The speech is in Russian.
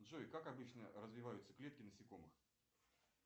джой как обычно развиваются клетки насекомых